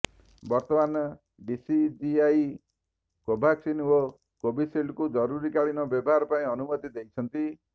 ବର୍ତ୍ତମାନ ଡିସିଜିଆଇ କୋଭାକ୍ସିନ୍ ଓ କୋଭିସିଲ୍ଡକୁ ଜରୁରୀକାଳିନ ବ୍ୟବହାର ପାଇଁ ଅନୁମତି ଦେଇଛନ୍ତି